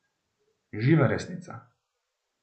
Živa resnica!